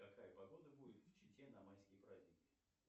какая погода будет в чите на майские праздники